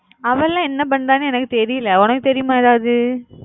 அவ லாம் என்ன பண்ணுற எனக்கு தெரியல உனக்கு தெரியுமா ஏதாவது